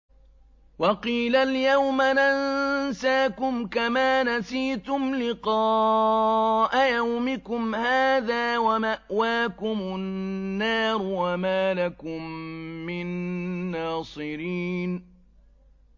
وَقِيلَ الْيَوْمَ نَنسَاكُمْ كَمَا نَسِيتُمْ لِقَاءَ يَوْمِكُمْ هَٰذَا وَمَأْوَاكُمُ النَّارُ وَمَا لَكُم مِّن نَّاصِرِينَ